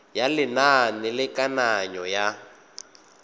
ya lenane la kananyo ya